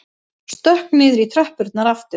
Stökk niður í tröppurnar aftur.